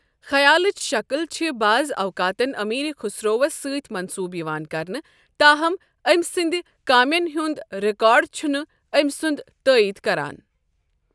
خیالٕچ شکٕل چھِ بعض اوقاتَن امیر خسروَس سۭتۍ منسوب یِوان کرنہٕ، تاہم أمۍ سٕنٛدِ کامٮ۪ن ہُنٛد ریکارڈ چھُنہٕ أمۍ سُنٛد تائید کران۔